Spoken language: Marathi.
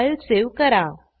फाईल सेव्ह करा